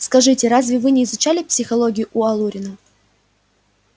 скажите разве вы не изучали психологию у алурина